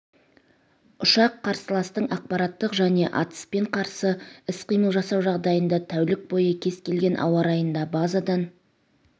ұшақ қарсыластың ақпараттық және атыспен қарсы іс-қимыл жасау жағдайында тәулік бойы кез келген ауа райында базадан